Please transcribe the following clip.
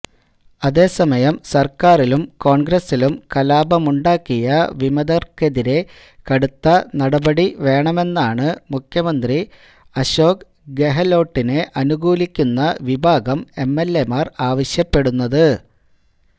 അതേസമയം സർക്കാരിലും കോൺഗ്രസിലും കലാപമുണ്ടാക്കിയ വിമതർക്കെതിരെ കടുത്ത നടപടി വേണമെന്നാണ് മുഖ്യമന്ത്രി അശോക് ഗെഹലോട്ടിനെ അനുകൂലിക്കുന്ന വിഭാഗം എംഎൽഎമാർ ആവശ്യപ്പെടുന്നത്